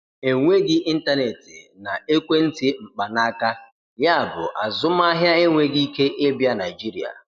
Enweghị ịntanetị na ekwentị mkpanaaka, yabụ azụmaahịa enweghị ike ịbịa Nigeria.